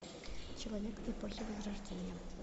человек эпохи возрождения